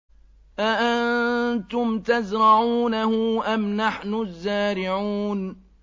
أَأَنتُمْ تَزْرَعُونَهُ أَمْ نَحْنُ الزَّارِعُونَ